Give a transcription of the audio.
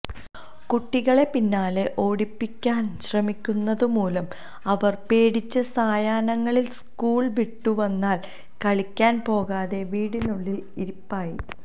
കുട്ടികളെ പിന്നാലെ ഓടിപ്പിടിക്കാന് ശ്രമിക്കുന്നതുമൂലം അവര് പേടിച്ച് സായാഹ്നങ്ങളില് സ്കൂള് വിട്ടുവന്നാല് കളിക്കാന് പോകാതെ വീട്ടിനുള്ളില് ഇരിപ്പായി